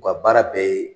U ka baara bɛɛ ye